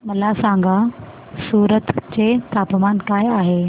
मला सांगा सूरत चे तापमान काय आहे